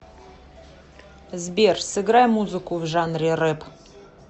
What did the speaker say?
сбер сыграй музыку в жанре рэп